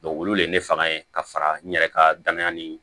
olu de ye ne faga yen ka fara n yɛrɛ ka danaya nin